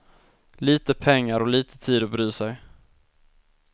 Lite pengar och lite tid att bry sig.